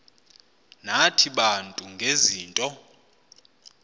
nathi bantu ngezinto